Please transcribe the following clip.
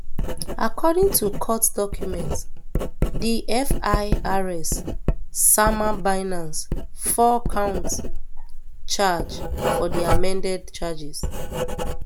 according to court documents di firs sama binance four count um charge for di amended charges